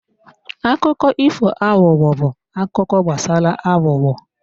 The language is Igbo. Akụkọ ifo aghụghọ bụ akụkọ gbasara aghụghọ.